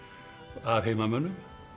af heimamönnum